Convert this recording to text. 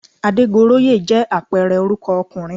Adégoróyè jẹ́ àpẹẹrẹ orúkọ ọkùnrin